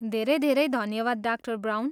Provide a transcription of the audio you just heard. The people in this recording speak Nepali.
धेरै धेरै धन्यवाद, डा. ब्राउन।